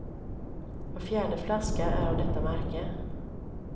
Var fjärde flaska är av detta märke.